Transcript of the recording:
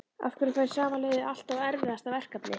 Af hverju fær sama liðið alltaf erfiðasta verkefnið?